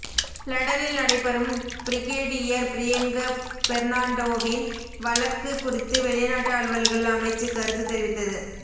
லண்டனில் நடைபெறும் பிரிகேடியர் பிரியங்க பெர்னாண்டோவின் வழக்கு குறித்து வெளிநாட்டு அலுவல்கள் அமைச்சு கருத்து தெரிவித்தது